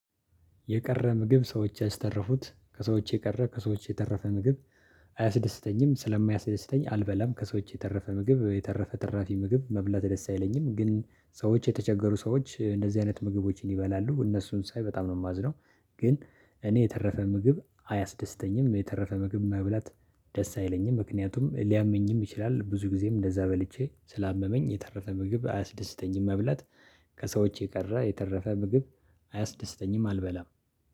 የቀረ ምግብ ሰዎች ያስተረፉት ከሰዎች የቀረ ከሰዎች የተረፈ ምግብ አያስደስተኝም ስለማያስደስተኝ አልበላም ከሰዎች የተረፈ ምግብ የተረፈ ትራፊ ምግብ መብላት ደስ አይለኝም ግን ሰዎች የተቸገሩ ሰዎች እንደዚህ አይነት ምግቦችን ይበላሉ እነሱን ሳይ በጣም ነው የማዝነው። ግን እኔ የተረፈ ምግብ አያስደስተኝም የተረፈ ምግብ መብላት ደስ አይለኝም። ምክንያቱም ሊያመኝም ይችላል ብዙ ጊዜም እንደዛ በልቼ ስላመመኝ የተረፈ ምግብ አያስደስተኝም መብላት። ከሰዎች የቀረ የተረፈ ምግብ አያስደስተኝም አልበላም።